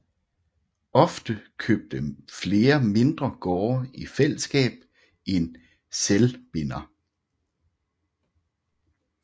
Ofte købte flere mindre gårde i fællesskab en selvbinder